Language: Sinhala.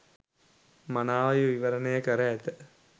මනාව විවරණය කර ඇත.